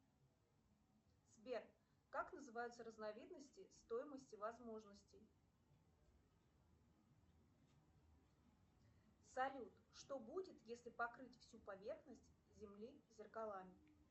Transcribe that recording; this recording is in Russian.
сбер как называются разновидности стоимости возможностей салют что будет если покрыть всю поверхность земли зеркалами